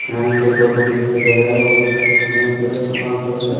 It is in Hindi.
फेन सब तो तो दिखाई दे रहा है बहोत सारे फोनस है सामान सब है।